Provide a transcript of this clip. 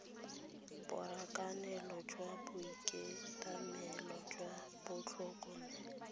borakanelo jwa boitekanelo jwa tlhokomelo